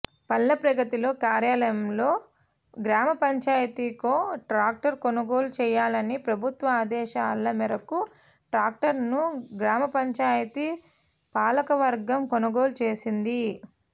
పల్లె ప్రగతిలో కార్యక్రమంలో గ్రామపంచాయతీకో ట్రాక్టర్ కొనుగోలు చేయాలనే ప్రభుత్వ ఆదేశాల మేరకు ట్రాక్టర్ను గ్రామపంచాయతీ పాలకవర్గం కొనుగోలు చేసింది